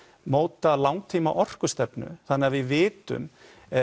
móta langtíma orkustefnu þannig við vitum